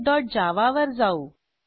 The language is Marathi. greetingservletजावा वर जाऊ